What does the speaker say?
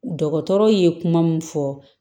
Dɔgɔtɔrɔ ye kuma mun fɔ